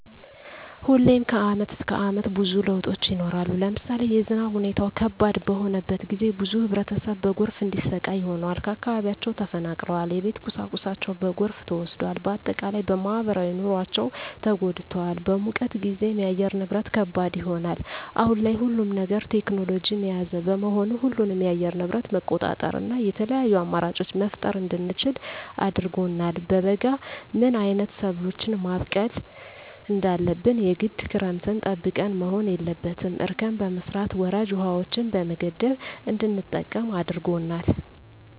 ሁሌም ከአመት እስከ አመት ብዙ ለውጦች ይኖራሉ። ለምሳሌ የዝናብ ሁኔታው ከባድ በሆነበት ጊዜ ብዙ ህብረተሰብ በጎርፍ እንዲሰቃይ ሆኗል። ከአካባቢያቸው ተፈናቅለዋል የቤት ቁሳቁሳቸው በጎርፍ ተወስዷል። በአጠቃላይ በማህበራዊ ኑሯቸው ተጎድተዋል። በሙቀት ጊዜም የአየር ንብረት ከባድ ይሆናል። አሁን ላይ ሁሉም ነገር ቴክኖሎጅን የያዘ በመሆኑ ሁሉንም የአየር ንብረት መቆጣጠር እና የተለያዪ አማራጮች መፍጠር እንድንችል አድርጎናል። በበጋ ምን አይነት ሰብሎችን ማብቀል እንዳለብን የግድ ክረምትን ጠብቀን መሆን የለበትም እርከን በመስራት ወራጅ ውሀዎችን በመገደብ እንድንጠቀም አድርጎናል።